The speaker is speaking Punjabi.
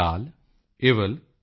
ਏਨਿਰ ਸਿਰਦਨੈ ਅੋਂਦੁਡੈਯਾਲ